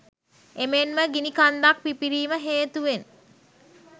එමෙන්ම ගිනිකන්දක් පිපිරීම හේතුවෙන්